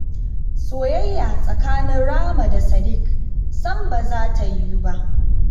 soyayya tsakanin Rahma da Sadiƙ sam ba za ta yiwu ba